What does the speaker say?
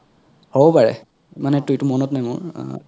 হবও পাৰে ইমান এতা এইতো মনত নাই মোৰ